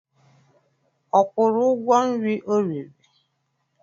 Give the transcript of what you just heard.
Ọ kwụrụ ụgwọ nri o riri?